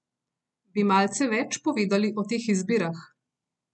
Bi malce več povedali o teh izbirah?